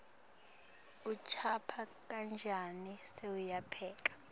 ucupha kancane sewuyapheka